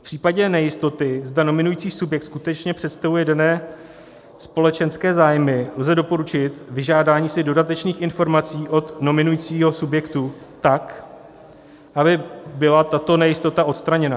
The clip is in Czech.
V případě nejistoty, zda nominující subjekt skutečně představuje dané společenské zájmy, lze doporučit vyžádání si dodatečných informací od nominujícího subjektu tak, aby byla tato nejistota odstraněna.